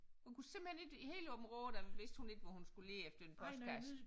Hun kunne simpelthen ikke i hele Aabenraa der vidste hun ikke hvor hun skulle lede efter en postkasse